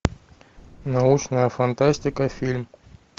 научная фантастика фильм